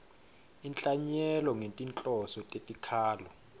inhlanyelo ngetinhloso tetikhalo